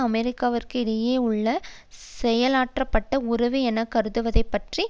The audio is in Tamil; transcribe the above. அமெரிக்காவிற்கும் இடையே உள்ள செயல்பாடற்ற உறவு என கருதுவதைப் பற்றி